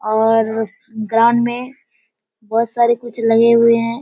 और ग्राउंड में बहुत सारे कुछ लगे हुए हैं।